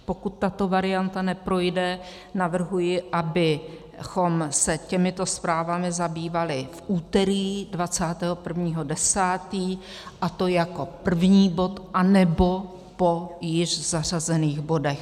Pokud tato varianta neprojde, navrhuji, abychom se těmito zprávami zabývali v úterý 21. 10., a to jako první bod, anebo po již zařazených bodech.